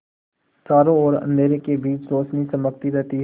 चारों ओर अंधेरे के बीच रौशनी चमकती रहती है